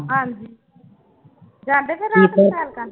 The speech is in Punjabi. ਹਾਂਜੀ ਜਾਂਦੇ ਫਿਰ ਰਾਤ ਨੂੰ ਸੈਰ ਕਰਨ?